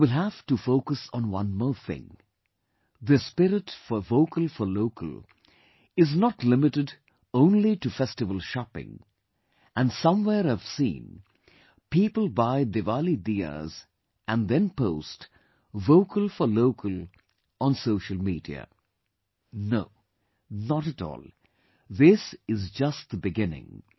But you will have to focus on one more thing, this spirit for Vocal for Local, is not limited only to festival shopping and somewhere I have seen, people buy Diwali diyas and then post 'Vocal for Local' on social media No... not at all, this is just the beginning